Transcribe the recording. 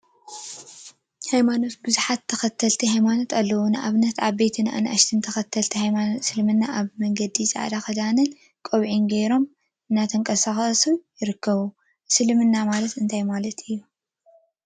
ሃይማኖት ቡዙሓት ተከተልቲ ሃይማኖት አለው፡፡ ንአብነት ዓበይትን አናእሽተይን ተከተለቲ ሃይማኖት እስልምና አብ መንገዲ ፃዕዳ ክዳንን ቆቢዕን ገይሮም እናተንቀሳቀሱ ይርከቡ፡፡ እስልምና ማለት እንታይ ማለት እዩ?